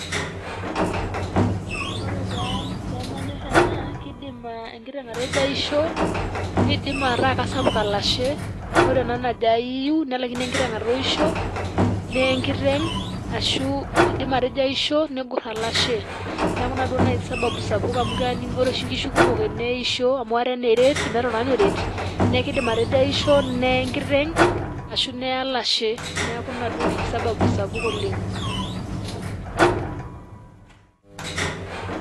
ore pee manyor ena kidim enkiteng' atejo aisho kisapuk olashe, ore ena najo aiu nelaikino enkiteng' atooisho. neeye enkiteng asu negor olashe. neeku ina sababu. ore oshi nkishu kumok eneisho amu ate naa eret, neye enkiteng ashu neye olashe. neeku ina oshi sababu sapuk oleng.